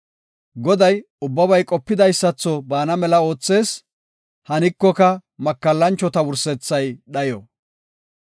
Goday ubbabay qopidaysatho bana mela oothees; hanikoka, makallanchota wursethay dhayo.